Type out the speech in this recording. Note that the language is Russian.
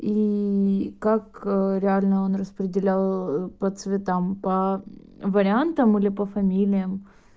и как реально он распределял по цветам по вариантам или по фамилиям